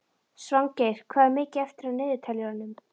Svangeir, hvað er mikið eftir af niðurteljaranum?